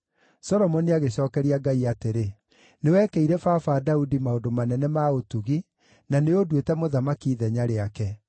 Solomoni agĩcookeria Ngai atĩrĩ, “Nĩwekĩire baba Daudi maũndũ manene ma ũtugi na nĩũnduĩte mũthamaki ithenya rĩake.